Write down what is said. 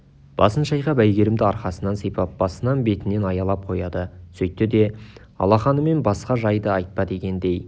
басын шайқап әйгерімді арқасынан сипап басынан бетінен аялап қояды сөйтті де алақанымен басқа жайды айтпа дегендей